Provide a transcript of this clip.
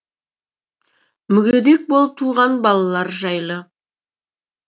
мүгедек болып туған балалар жайлы